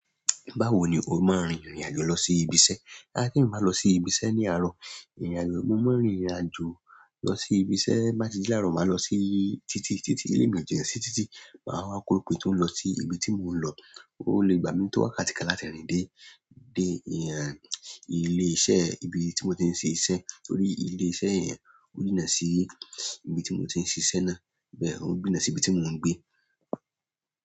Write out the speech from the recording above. Báwo ni o máa rin ìrìn àjò lọ sí ibi iṣẹ́? A ti emi bá n lọ sí ibi iṣẹ́ ní àárọ̀, ìrìn àjò mo máa rìnrìn àjò lọ sí ibi iṣẹ́, bá ti di láàárọ̀ màá lọ sí títí, títí ilé ìjẹ́ṣì títí màá wá korope tó ń lọ sí ibi tí mò ń lọ. Ó lè gbà mí tó wákàtí kan láti rìn dé, dé ìhà ilé iṣẹ́ ibi tí mò tí ń ṣe iṣẹ́ torí ilé iṣẹ́ yẹn ó jíná sí ibi tí mò tí ń ṣe iṣẹ́ náà. Bẹ́ẹ̀ ó ń jíná sí ibi tí mò ń gbé.